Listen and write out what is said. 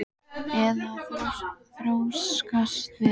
Eða að þrjóskast við?